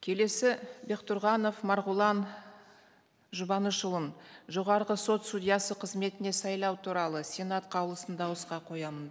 келесі бектұрғанов марғұлан жұбанышұлын жоғарғы сот судьясы қызметіне сайлау туралы сенат қаулысын дауысқа қоямын